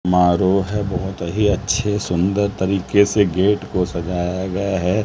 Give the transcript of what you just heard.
मारो है बहुत ही अच्छे सुंदर तरीके से गेट को सजाया गया है।